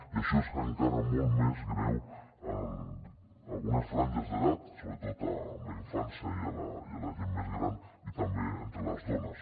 i això és encara molt més greu en algunes franges d’edat sobretot en la infància i en la gent més gran i també entre les dones